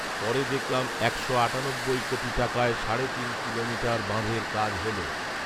পরে দেখলাম একশো আটানব্বই কোটি টাকায় সাড়ে তিন কিলোমিটার বাঁধের কাজ হলো